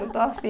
Não estou afim.